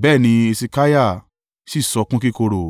Bẹ́ẹ̀ ni Hesekiah sì sọkún kíkorò.